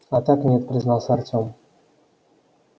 а так нет признался артём